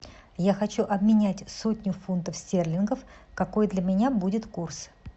я хочу обменять сотню фунтов стерлингов какой для меня будет курс